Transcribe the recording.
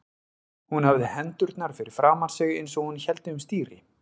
Hún hafði hendurnar fyrir framan sig eins og hún héldi um stýri.